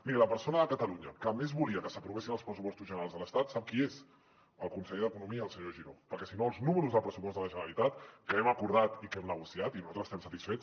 miri la persona de catalunya que més volia que s’aprovessin els pressupostos generals de l’estat sap qui és el conseller d’economia el senyor giró perquè si no els números del pressupost de la generalitat que hem acordat i que hem negociat i que nosaltres n’estem satisfets